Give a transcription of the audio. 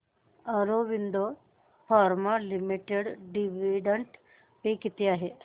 Aurobindo pharma limited dividend pay किती आहे